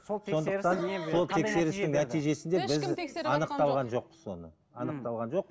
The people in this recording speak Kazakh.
анықталған жоқ соны ммм анықталған жоқ